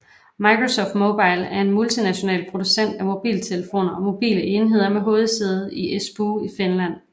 Microsoft Mobile er en multinational producent af mobiltelefoner og mobile enheder med hovedsæde i Espoo i Finland